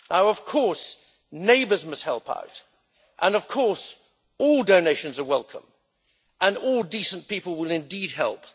Of course, neighbours must help out, and of course, all donations are welcome and all decent people will indeed help.